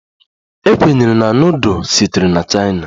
A kwenyere na nudul sitere na chaina